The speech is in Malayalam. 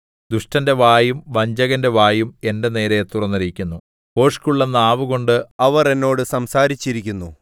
ദുഷ്ടന്റെ വായും വഞ്ചകന്റെ വായും എന്റെ നേരെ തുറന്നിരിക്കുന്നു ഭോഷ്കുള്ള നാവുകൊണ്ട് അവർ എന്നോട് സംസാരിച്ചിരിക്കുന്നു